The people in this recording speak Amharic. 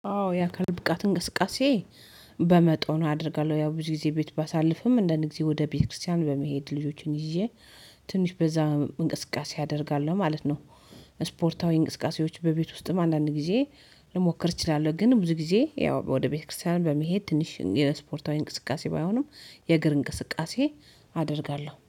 አዎ የአካል ብቃት እንቅስቃሴ። በመጠኑ አደርጋለሁ ያው ብዙ ጊዜ ቤት ባሳልፍም አንዳንድ ጊዜ ወደ ቤተክርስቲያን በመሄድ ልጆችን ይዤ ትንሽ በዛ እንቅስቃሴ አደርጋለሁ ማለት ነው። ስፖርታዊ እንቅስቃሴዎች በቤት ውስጥም አንዳንድ ጊዜ ልሞክር እችላለሁ ግን ብዙ ጊዜ ያው ወደ ቤተክርስቲያን በመሄድ ትንሽ የእስፖርታዊ እንቅስቃሴ ባይሆንም የእግር እንቅስቃሴ አደርጋለሁ